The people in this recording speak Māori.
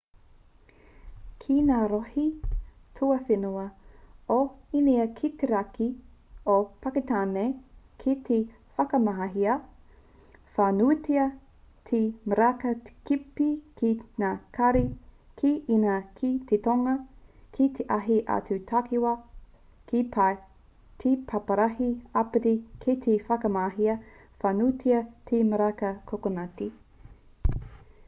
ki ngā rohe tuawhenua o īnia ki te raki o pakitāne kei te whakamahia whānuitia te miraka tepe ki ngā kari ki īnia ki te tonga ki ētahi atu takiwā ki tai o te paparahi āpiti kei te whakamahia whānuitia te miraka kokonati